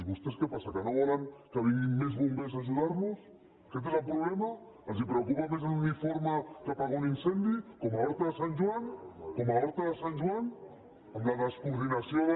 vostès què passa que no volen que vinguin més bombers a ajudar los aquest és el problema els preocupa més l’uniforme que apagar un incendi com a horta de sant joan com a horta de sant joan amb la descoordinació de